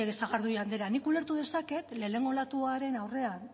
sagardui andrea nik ulertu dezaket lehenengo olatuaren aurrean